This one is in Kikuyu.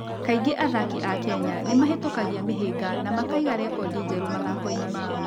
Kaingĩ athaki a Kenya nĩ mahĩtũkagia mĩhĩnga na makaiga rekondi njerũ mathako-inĩ mao.